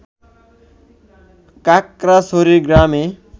কাকড়াছড়ি গ্রামে